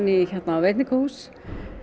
á veitingahús